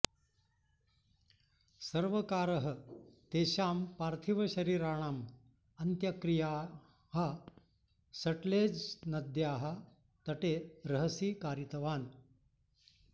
सर्वकारः तेषां पार्थिवशरीराणाम् अन्त्यक्रियाः सट्लेज्नद्याः तटे रहसि कारितवान्